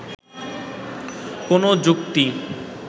কোনো যুক্তি